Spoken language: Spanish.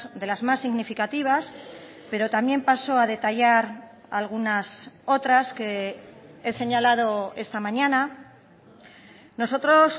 de las más significativas pero también paso a detallar algunas otras que he señalado esta mañana nosotros